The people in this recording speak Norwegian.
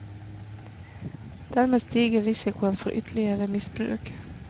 Dermed stiger risikoen for ytterligere misbruk.